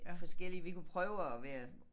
Forskellige vi kunne prøve at være